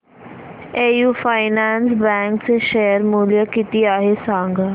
AU finance bank चे share मूल्य किती आहे सांगा